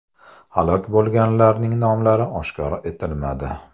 Halok bo‘lganlarning nomlari oshkor etilmadi.